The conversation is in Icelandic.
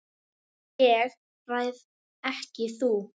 ÉG ræð EKKI þú.